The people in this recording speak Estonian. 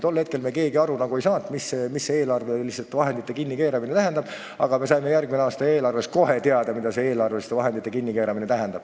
Tol hetkel me keegi aru ei saanud, mida see eelarveliste vahendite kinnikeeramine tähendab, aga me saime seda järgmise aasta eelarvet nähes kohe teada.